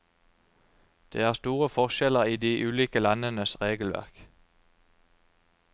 Det er store forskjeller i de ulike landenes regelverk.